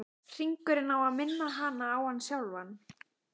Hringurinn á að minna hana á hann sjálfan.